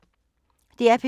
DR P3